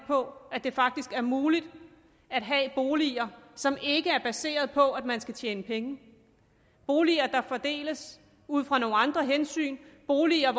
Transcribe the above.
på at det faktisk er muligt at have boliger som ikke er baseret på at man skal tjene penge boliger der fordeles ud fra nogle andre hensyn boliger